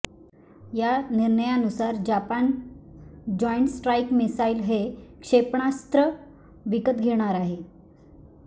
या निर्णयानुसार Japan joint strike missile हे क्षेपणास्त्र विकत घेणार आहे